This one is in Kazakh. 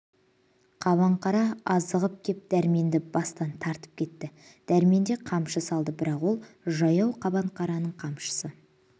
қабаңқара ағызып кеп дәрменді бастан тартып кетті дәрмен де қамшы салды бірақ ол жаяу қабанқараның қамшысы